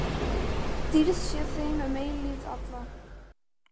Dýrð sé þeim um eilífð alla.